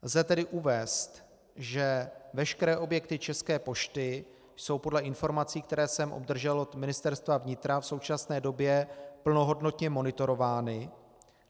Lze tedy uvést, že veškeré objekty České pošty jsou podle informací, které jsem obdržel od Ministerstva vnitra, v současné době plnohodnotně monitorovány.